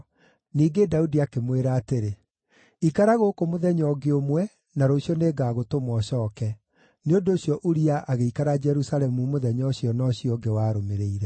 Ningĩ Daudi akĩmwĩra atĩrĩ, “Ikara gũkũ mũthenya ũngĩ ũmwe, na rũciũ nĩngagũtũma ũcooke.” Nĩ ũndũ ũcio Uria agĩikara Jerusalemu mũthenya ũcio na ũcio ũngĩ warũmĩrĩire.